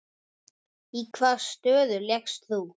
Í hvaða stöðu lékst þú?